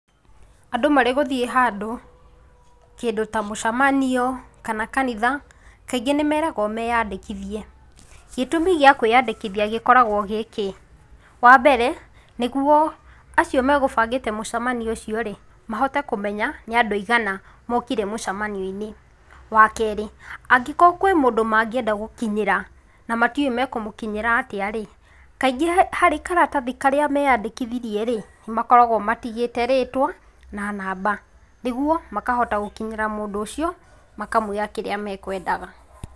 Andũ marĩgũthiĩ handũ, kĩndũ ta mũcemanio kana kanitha, kaingĩ nĩ meeragwo meeandĩkithie. Gĩtũmi gĩa kwĩandĩkithia gĩkoragwo gĩkĩ? Wa mbere, nĩguo acio megũbangĩte mũcemanio ũcio rĩ, mahote kũmenya, nĩ andũ aigana mokire mũcamanio-inĩ. Wa kerĩ, angĩkorwo kwĩ mũndũ mangĩenda gũkinyĩra, na matiũĩ mekũmũkinyĩra atĩa rĩ, kaingĩ harĩ karatathi karĩa meandĩkithirie rĩ, nĩ makoragwo matigĩte rĩtwa, na namba, nĩguo makahota gũkinyĩra mũndũ ũcio, makamwĩra kĩrĩa mekwendaga.